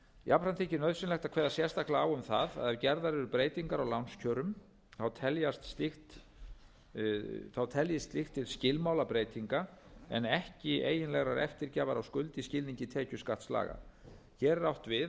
jafnframt þykir nauðsynlegt að kveða sérstaklega á um það að ef gerðar eru breytingar á lánskjörum teljist slíkt til skilmálabreytinga en ekki eiginlegrar eftirgjafar á skuld í skilningi tekjuskattslaga hér er átt við að lán séu